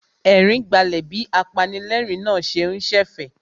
Ẹ̀rín gbálẹ̀ bí apanilẹ́ẹ̀rín náà ṣe ń ṣẹ̀fẹ̀